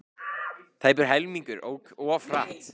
Tæpur helmingur ók of hratt